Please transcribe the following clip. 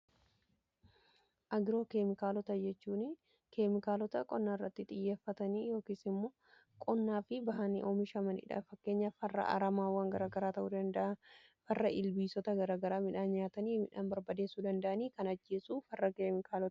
agroo keemikaalota jechuun keemikaalota qonnaa irratti xiyyeeffatanii yookiin immoo qonnaa fi bahanii oamishamaniidha. fakkeenya farra aramaawwan garaagaraa ta'uu farra ilbiisota garagaraa midhaan nyaatanii midhaan barbadeessuu danda'anii kan ajjeessuu farra keemikaalaa jedhama.